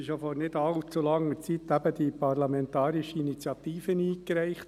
Vor nicht allzu langer Zeit wurde ja diese parlamentarische Initiative zu Artikel 16 eingereicht.